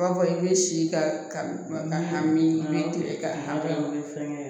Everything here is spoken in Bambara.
B'a fɔ i bɛ si ka ka min tilema dɔn ni fɛngɛ ye